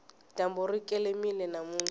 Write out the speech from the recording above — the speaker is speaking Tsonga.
dyambu ri kelemile namuntlha